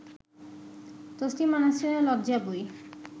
তসলিমা নাসরিনের লজ্জা বই